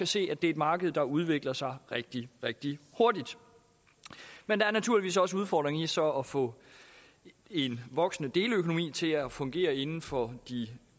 se at det er et marked der udvikler sig rigtig rigtig hurtigt men der er naturligvis også udfordringer i så at få en voksende deleøkonomi til at fungere inden for de